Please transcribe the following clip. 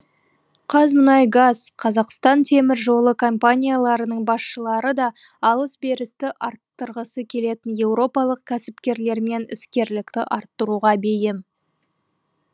қазмұнайгаз қазақстан темір жолы компанияларының басшылары да алыс берісті арттырғысы келетін еуропалық кәсіпкерлермен іскерлікті арттыруға бейім